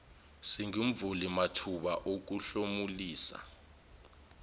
singumvuli mathuba okuhlomulisa